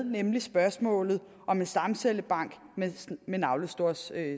nemlig spørgsmålet om en stamcellebank med navlesnorsstamceller